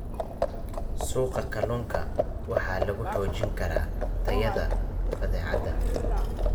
Suuqa kalluunka waxa lagu xoojin karaa tayada badeecada